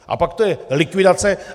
A pak je to likvidace.